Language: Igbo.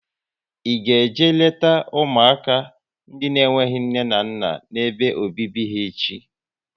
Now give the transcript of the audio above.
Ị ga eje leta ụmụaka ndị n'enweghị nne na nna n'ebe obibi ha echi?